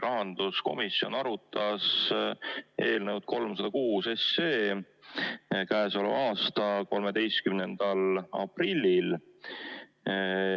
Rahanduskomisjon arutas eelnõu 306 k.a 13. aprillil.